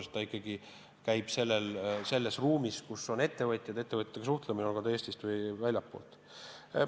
See töö ikkagi käib selles ruumis, kus on ettevõtjad, olgu nad Eestist või väljastpoolt.